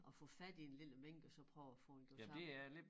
At få fat i en lille mink og så prøvet at få den gjort tam